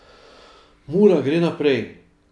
Mura gre naprej.